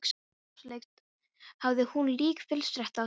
Sjálfsagt hafði hún líka fyllsta rétt á að vera það.